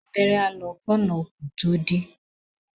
Abẹ́rẹ́ á lọ kí ọ̀nà okùn tó dí.